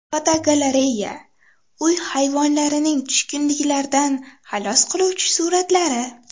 Fotogalereya: Uy hayvonlarining tushkunliklardan xalos qiluvchi suratlari.